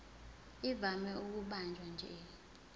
ivame ukubanjwa nje